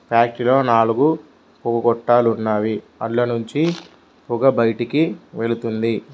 Factory లో నాలుగు పొగ గొట్టాలు ఉన్నవి అందులో నుంచి పొగ బయటకి వెళ్తుంది.